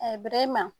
bɛrema